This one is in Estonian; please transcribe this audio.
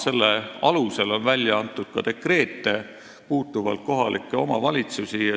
Selle alusel on välja antud ka dekreete, mis puudutavad kohalikke omavalitsusi.